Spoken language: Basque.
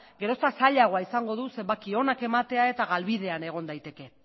gero eta zailagoa izango du zenbaki onak ematea eta galbidean egon daiteke